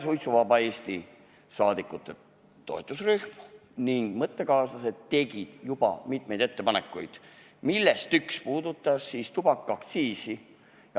Suitsuvaba Eesti toetusrühm ning meie mõttekaaslased tegid mitmeid ettepanekuid, millest üks puudutas ka tubakaaktsiisi.